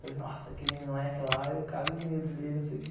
Falei, nossa, aquele moleque lá, eu cago de medo dele, não sei o que.